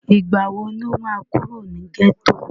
ìgbà wo ló máa kúrò ní gẹ́tò?